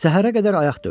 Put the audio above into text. Səhərə qədər ayaq döydü.